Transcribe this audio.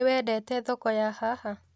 Nĩwendete thoko ya haha?